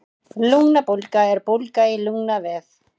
Lungnabólga er bólga í lungnavef.